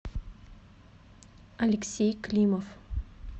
алексей климов